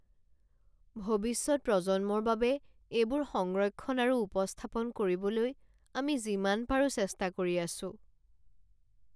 ভৱিষ্যত প্ৰজন্মৰ বাবে এইবোৰ সংৰক্ষণ আৰু উপস্থাপন কৰিবলৈ আমি যিমান পাৰো চেষ্টা কৰি আছোঁ।